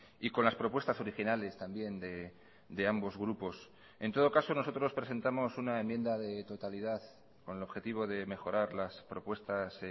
y con las propuestas originales también de ambos grupos en todo caso nosotros presentamos una enmienda de totalidad con el objetivo de mejorar las propuestas